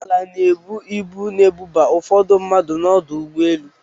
Ụgbọala na-ebu ibu na-ebuba ụfọdụ mmadụ n'ọdụ ụgbọelu.